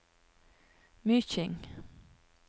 Myking